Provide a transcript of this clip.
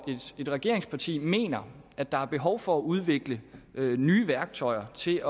et regeringsparti mener at der er behov for at udvikle nye værktøjer til